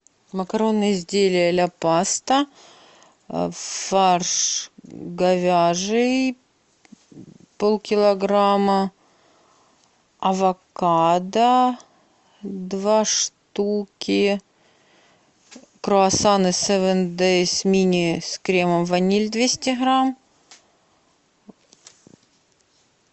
макаронные изделия ля паста фарш говяжий полкилограмма авокадо два штуки круассаны севен дейз мини с кремом ваниль двести грамм